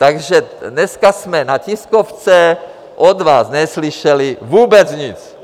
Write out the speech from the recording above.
Takže dneska jsme na tiskovce od vás neslyšeli vůbec nic.